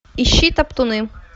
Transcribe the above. ищи топтуны